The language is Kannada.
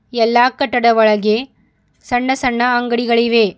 ಎಲ್ಲಾ ಕಟ್ಟದ ಒಳಗೆ ಸಣ್ಣ ಸಣ್ಣ ಅಂಗಡಿಗಳಿವೆ.